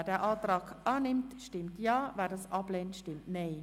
Wer diesen Antrag annimmt, stimmt Ja, wer diesen ablehnt, stimmt Nein.